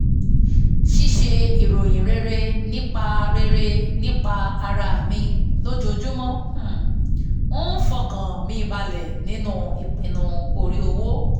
ṣíṣe ìròyìn rere nípa rere nípa ara mi lojoojúmọ́ um ń fọkàn mi balẹ̀ nínú ipinnu orí owó